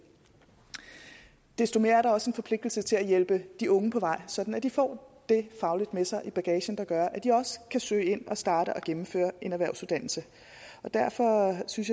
desto mere er der også en forpligtelse til at hjælpe de unge på vej sådan at de får det faglige med sig i bagagen der gør at de også kan søge ind og starte på og gennemføre en erhvervsuddannelse derfor synes